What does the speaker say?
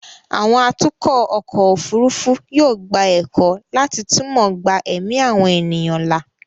àwọn atukọ̀ ọkọ̀ òfurufú yóò gba ẹ̀kọ́ láti túmọ̀ gba ẹ̀mí àwọn ènìyàn là